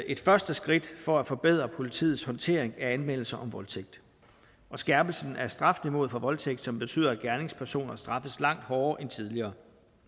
et første skridt for at forbedre politiets håndtering af anmeldelser om voldtægt og skærpelsen af strafniveauet for voldtægt som betyder at gerningspersoner straffes langt hårdere end tidligere